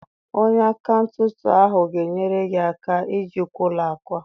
Onye akaụntantị ahụ ga-enyere gị aka ijikwa ụlọ akụ a